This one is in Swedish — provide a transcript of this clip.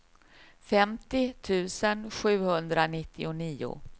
femtio tusen sjuhundranittionio